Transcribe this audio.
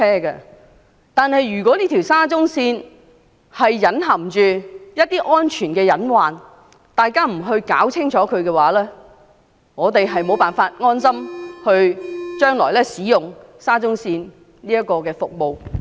然而，如果沙中線隱含一些大家未能查明的安全隱患，日後我們將無法安心使用沙中線的服務。